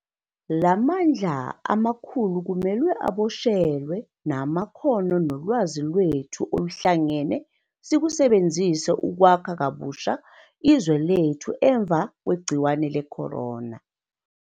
La mandla amakhulu kumele aboshelwe, namakhono nolwazi lwethu oluhlangene sikusebenzise ukwakha kabusha izwe lethu emva kwegciwane le-corona.